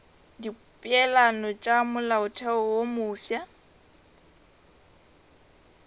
dipeelano tša molaotheo wo mofsa